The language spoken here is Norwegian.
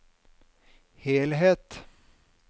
helhet